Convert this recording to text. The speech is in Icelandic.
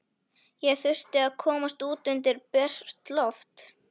Ég þurfti að komast út undir bert loft.